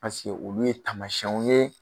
Paseke olu ye taamasiyɛnw ye